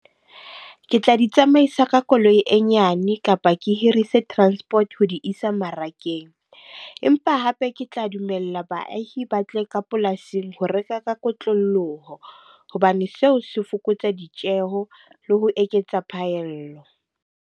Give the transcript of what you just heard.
Ke tla di tsamaisa ka koloi e nyane kapa ke hirise transport ho di isa mmarakeng. Empa hape ke tla dumella baahi ba tle ka polasing ho reka ka kotloloho, hobane seo se fokotsa ditjeho le ho eketsa phaello.